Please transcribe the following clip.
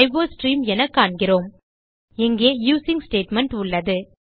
iostream என காண்கிறோம் இங்கே யூசிங் ஸ்டேட்மெண்ட் உள்ளது